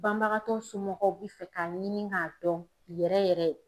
Banbagatɔ somɔgɔw bi fɛ k'a ɲini k'a dɔn yɛrɛ yɛrɛ.